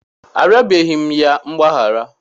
Arịọbeghị m ya mgbaghara.